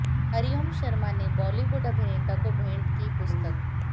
हरिओम शर्मा ने बालीवुड अभिनेता को भेंट की पुस्तक